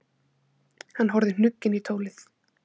Hann horfði hnugginn í tólið.